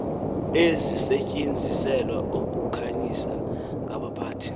ezisetyenziselwa ukukhanyisa ngaphakathi